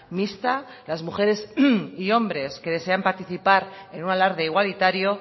mixta las mujeres y hombres que desean participar en un alarde igualitario